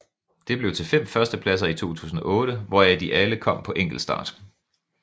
Det blev til 5 førstepladser i 2008 hvoraf de alle kom på enkeltstart